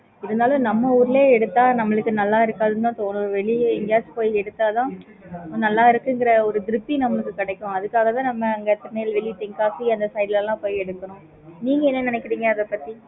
இருந்தாலும் நம்ப ஊருல எடுத்த நம்மளுக்கு நல்ல இருக்குக்காது தான் தோணுது வெளிய எங்கேயாச்சும் போய் எடுத்த தான் நல்லா இருக்குயென்கிற ஒரு திருப்தி நம்பளுக்கு கிடைக்கும் அதுக்காக தான் நம்ப அங்க திருநெல்வேலி தென்காசி அந்த side லாம் போய் எடுக்குறோம் நீங்க என்ன நினைக்குறிங்க அதபத்தி